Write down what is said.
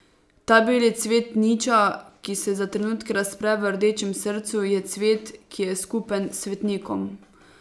Ta beli cvet niča, ki se za trenutke razpre v rdečem srcu, je cvet, ki je skupen svetnikom.